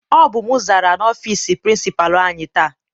Ọ bụ m zara n'ọfịịsi pirincipalu anyị taa.